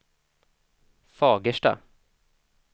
Fagersta